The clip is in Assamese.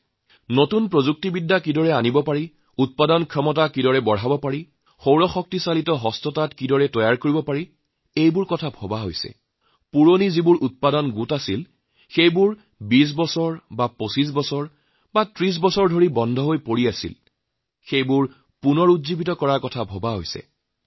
নতুন প্ৰযুক্তি কেনেদৰে আনিব উৎপাদনক্ষমতা কেনেদৰে বৃদ্ধি কৰিব সৌৰশক্তি আৰু হস্তচালিত তাঁত কেনেদৰে লগাব পুৰনা যি ঐতিহ্য আছিল যি প্ৰায় ২০ ২৫ ৩০ বছৰ ধৰি বন্ধ হৈ পৰিছিল তাক পুনৰুজ্জীৱিত কেনেদৰে কৰিব পৰা যায় ইত্যাদি